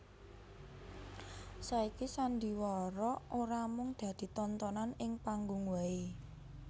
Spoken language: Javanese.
Saiki sandhiwara ora mung dadi tontonan ing panggung wae